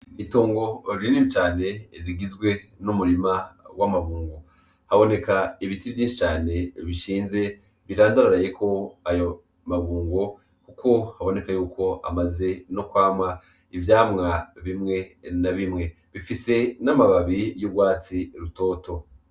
Itungo ririnimi cane rigizwe n'umurima w'amabungo haboneka ibiti vyincane bishinze birandararayeko ayo mabungo, kuko haboneka yuko amaze no kwamwa ivyamwa bimwe na bimwe bifise n'amababi y'urwatsi rutoto.